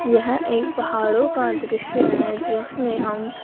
यहं एक पहाड़ों का दृश्य हैं जिसमें हम--